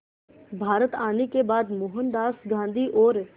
भारत आने के बाद मोहनदास गांधी और